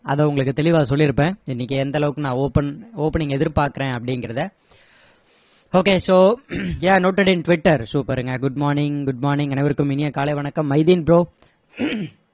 அதை உங்களுக்கு தெளிவா சொல்லிருப்பேன் இன்னைக்கு எந்த அளவுக்கு நான் open opening எதிர்பாக்கறேன் அப்படிங்கிறத okay so yeah noted in twitter super ங்க good morning good morning அனைவருக்கும் இனிய காலை வணக்கம் மைதீன் bro